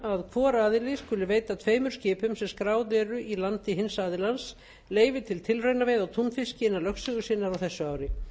um að hvor aðili skuli veita tveimur skipum sem skráð eru í landi hins aðilans leyfi til tilraunaveiða á túnfiski innan lögsögu sinnar á þessu ári